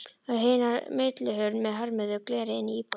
Á hina millihurð með hömruðu gleri inn í íbúðina.